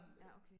ja okay